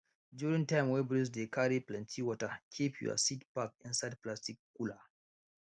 during time wey breeze dey carry plenty water keep your seed pack inside plastic cooler